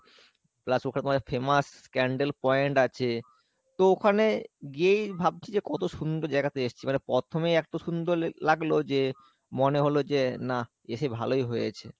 plus ওখানে famous scandal point আছে তো ওখানে গিয়েই ভাবছি যে কত সুন্দর জায়গা তে এসছি মানে প্রথমেই এত সুন্দর লাগলো যে মনে হলো যে না এসে ভালোই হয়েছে ।